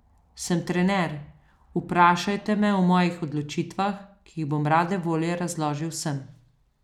Sem trener, vprašajte me o mojih odločitvah, ki jih bom rade volje razložil vsem.